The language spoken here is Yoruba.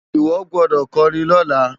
Iwo gbòdò kòrin lòlá